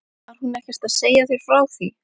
Var hún ekkert að segja þér frá því?